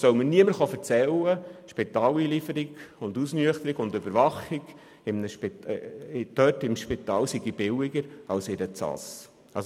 Es soll jedoch niemand behaupten, die Spitaleinlieferung und Ausnüchterung sei weniger teuer als in einer Ausnüchterungsstelle.